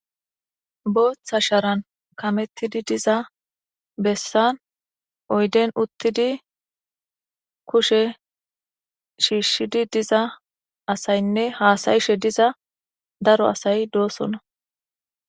booththa sharan kamettidi diza bessan oyden uttidi kushe shiishshidi diza asaynne haasayishe diza daro asay doosona